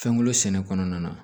Fɛnko sɛnɛ kɔnɔna na